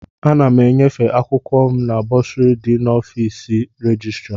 Ana m enyefe akwụkwọ m na bọsụrị dị nso n'ọfịs rejistra.